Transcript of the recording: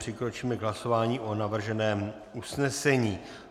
Přikročíme k hlasování o navrženém usnesení.